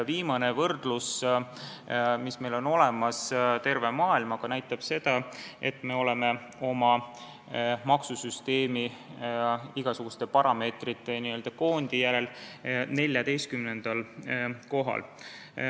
Viimane võrdlus terve maailmaga, mis meil on olemas, näitab, et me oleme oma maksusüsteemiga igasuguste parameetrite n-ö koondi järgi 14. kohal.